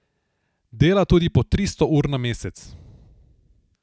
Dela tudi po tristo ur na mesec.